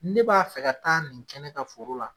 Ne b'a fɛ ka taa nin kɛ ne ka foro la